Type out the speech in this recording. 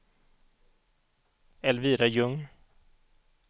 Elvira Ljung